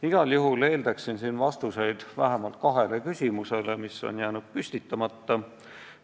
Igal juhul eeldaksin siin vastuseid vähemalt kahele küsimusele, mis on jäänud püstitamata.